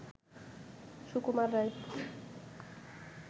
Sukumar Ray